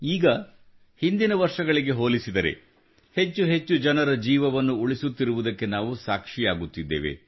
ಈಗ ಹಿಂದಿನ ವರ್ಷಗಳಿಗೆ ಹೋಲಿಸಿದರೆ ಹೆಚ್ಚೆಚ್ಚು ಜನರ ಜೀವವನ್ನು ಉಳಿಸುತ್ತಿರುವುದಕ್ಕೆ ನಾವು ಸಾಕ್ಷಿಯಾಗುತ್ತಿದ್ದೇವೆ